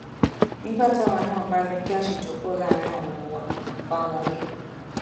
nígbà táwa náà bá rí i pé àṣejù pọ láàrin àwọn ọmọ wa à ń bá wọn wí